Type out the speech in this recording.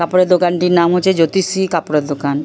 কাপড়ের দোকানটির নাম হচ্ছে জ্যোতিষ শ্রী কাপড়ের দোকান।